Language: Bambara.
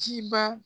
Ciba